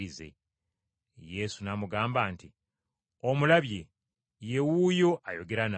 Yesu n’amugamba nti, “Omulabye, ye wuuyo ayogera naawe.”